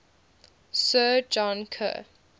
sir john kerr